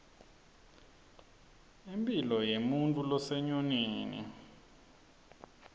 impilo yemuntfu losenyonini